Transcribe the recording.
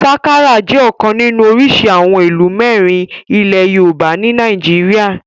Sakara jẹ́ ọ̀kan nínú orísìí àwọn ìlù mẹ́rin ilẹ̀ yoòbá ní nàìjíríyà